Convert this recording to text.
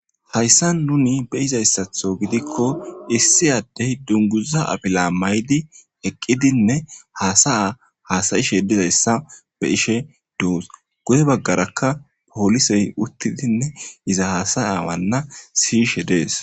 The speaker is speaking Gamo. Hayssan nuuni be'izayssatho gidikko issi adde dunguza afila mayidi eqidinne haasa'a haasa'she diyayssa be'ishe doos. Goye bagarakka polise uttidinne iza haasa'awana si'ishe dees.